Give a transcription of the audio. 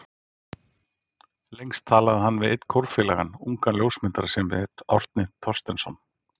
Lengst talaði hann við einn kórfélagann, ungan ljósmyndara sem hét Árni Thorsteinsson.